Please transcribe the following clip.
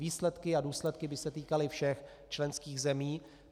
Výsledky a důsledky by se týkaly všech členských zemí.